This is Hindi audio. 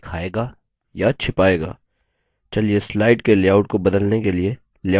चलिए slide के लेआउट को बदलने के लिए लेआउट section का उपयोग करते हैं